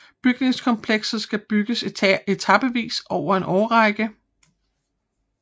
Bygningskomplekset skal bygges etapevis over en årrække